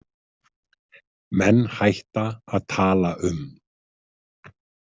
Menn hætta að tala um.